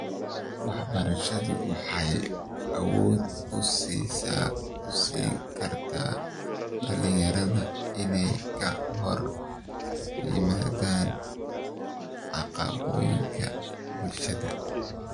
Waxbarashadu waxay awood u siin kartaa dhalinyarada inay ka hor yimaadaan caadooyinka bulshada.